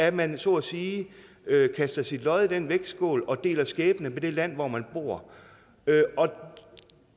at man så at sige kaster sit lod i den vægtskål og deler skæbne med det land hvor man bor